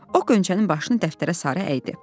O Qönçənin başını dəftərə sarı əyirdi.